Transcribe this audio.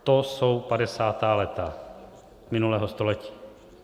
To jsou padesátá léta minulého století.